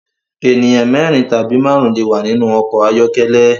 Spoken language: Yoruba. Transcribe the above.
Ènìyàn mérin tàbí márùn le wà nínú ọkọ̀ ayọ́kẹ́lẹ́